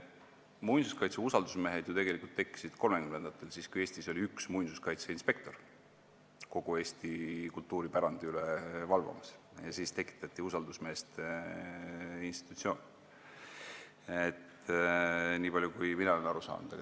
Muinsuskaitse usaldusmehed tekkisid ju tegelikult 1930-ndatel, kui Eestis oli üks muinsuskaitseinspektor kogu Eesti kultuuripärandi üle valvamas, siis tekitati usaldusmeeste institutsioon, niipalju, kui mina olen aru saanud.